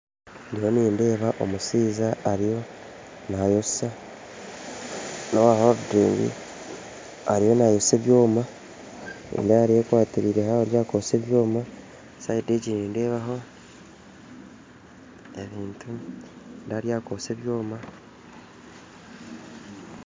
Ndiyo nindeeba omushaija ariyo nayosya n'oweridingi ariyo nayosya ebyoma nindeeba ariyo akwatiriire ahariyo akwosya ebyoma sidi egi nindeebaho ebintu nindeeba ariyo akwosya ebyoma